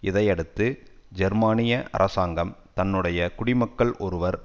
இதையடுத்து ஜெர்மனிய அரசாங்கம் தன்னுடைய குடிமக்கள் ஒருவர்